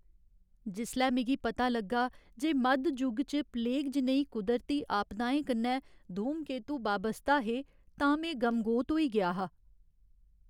जिसलै मिगी पता लग्गा जे मद्ध जुग च प्लेग जनेही कुदरती आपदाएं कन्नै धूमकेतू बाबस्ता हे तां में गमगोत होई गेआ हा।